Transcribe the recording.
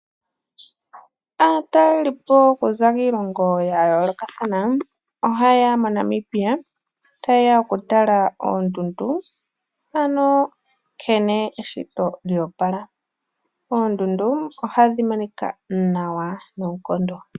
Aataleli po okuza kiilongo yayoolokathana, ohayeya moNamibia tayeya okutala oondundu ano nkene eshito lya opala, oondundu ohadhi monika nawa noonkondo.